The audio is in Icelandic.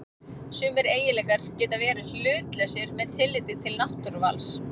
Sumir eiginleikar geta verið hlutlausir með tilliti til náttúruvals.